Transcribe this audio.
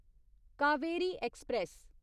Kaveri express